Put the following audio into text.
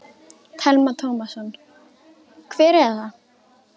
Telma Tómasson: Hver er það?